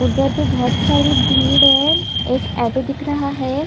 उधर भी बहोत भीड़ है एक ऑटो दिख रहा है।